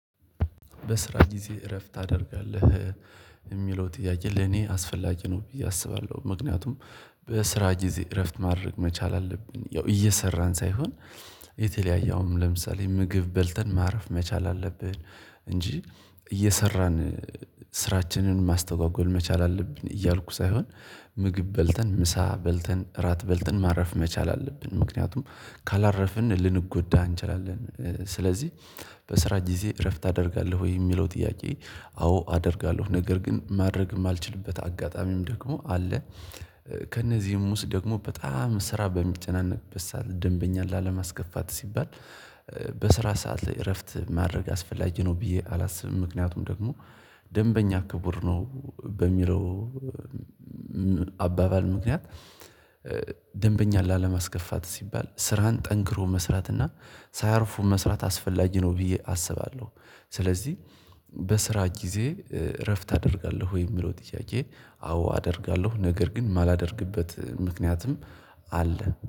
በስራ ጊዜ እረፍት ታደርጋለህ? የሚለው ጥያቄ ለኔ አስፈላጊ ነው ብዬ አስባለሁ ምክንያቱም በስራ ጊዜ እረፍት ማድረግ መቻል አለብን ያው እየሰራን ሳይሆን የተለያየ አሁን ለምሳሌ ምግብ በልተን ማረፍ መቻል አለብን እንጂ እየሰራን ስራችንን ማስተጓጎል መቻል አለብን እያልኩ ሳይሆን ምግብ በልተን ምሳ በልተን፤ እራት በልተን ማረፍ መቻል አለብን ምክንያቱም ካላረፍን ልንጎዳ እንችላለን ስለዚህ በስራ ጊዜ እረፍት ታደርጋለሁ ወይ የሚለው ጥያቄ አዎ አደርጋለሁ ነገር ግን ማድረግም የማልችልበት አጋጣሚም ደግሞ አለ ከእነዚህም ውስጥ ደግሞ በጣም ስራ በሚጨናነቅበት ሰዓት ደንበኛ ላለማስገፋት ሲባል በስራ ሰዓት ላይ እረፍት ማድረግ አስፈላጊ ነው ብዬ አላስብም ምክንያቱም ደግሞ ደንበኛ ክቡር ነው በሚለው አባባል ምክንያት ደንበኛ ላለማስከፋት ሲባል ስራን ጠንክሮ መስራትና ሳያርፉ መስራት አስፈላጊ ነው ብዬ አስባለሁ፤ ስለዚህ በስራ ጊዜ እረፍት ታደርጋለሁ ወይ የሚለው ጥያቄ አዎ አደርጋለሁ ነገር ግን የማላደርግበት ምክንያቱም አለ።